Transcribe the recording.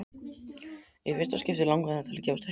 Í fyrsta skipti langaði hana til þess að gefast upp.